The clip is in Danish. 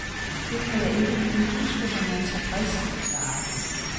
Det kan jeg ikke lige huske, men jeg er tilfreds, svarede hun.